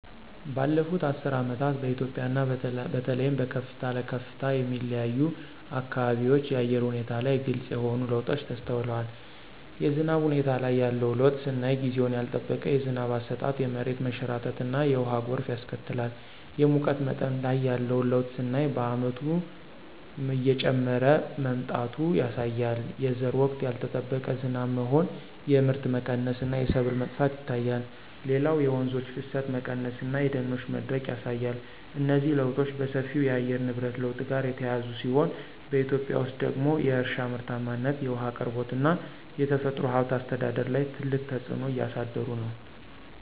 ባለፉት አስርት ዓመታት በኢትዮጵያ እና በተለይም በከፍታ ለከፍታ የሚለያዩ አካባቢዎች የአየር ሁኔታ ላይ ግልጽ የሆኑ ለውጦች ተስተውለዋል። የዝናብ ሁኔታ ላይ ያለው ለውጥ ስናይ ጊዜውን ያልጠበቀ የዝናብ አሰጣጥ የመሬት መንሸራተትና የውሃ ጎርፍ ያስከትላል። የሙቀት መጠን ላይ ያለው ለውጥ ስናይ በየዓመቱ እየጨመረ መምጣቱ ያሳያል። የዘር ወቅት ያልጠበቀ ዝናብ መሆን የምርት መቀነስ እና የሰብል መጥፋት ይታያል። ሌላው የወንዞች ፍሰት መቀነስ እና የደኖች መድረቅ ያሳያል። እነዚህ ለውጦች በሰፊው ከየአየር ንብረት ለውጥ ጋር የተያያዙ ሲሆን፣ በኢትዮጵያ ውስጥ ደግሞ የእርሻ ምርታማነት፣ የውሃ አቅርቦት እና የተፈጥሮ ሀብት አስተዳደር ላይ ትልቅ ተጽዕኖ እያሳደሩ ነው።